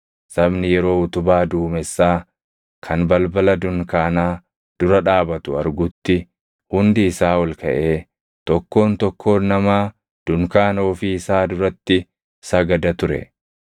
Sabni yeroo utubaa duumessaa kan balbala dunkaanaa dura dhaabatu argutti hundi isaa ol kaʼee tokkoon tokkoon namaa dunkaana ofii isaa duratti sagada ture.